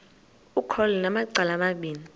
ukholo lunamacala amabini